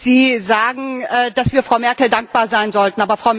Sie sagen, dass wir Frau Merkel dankbar sein sollten.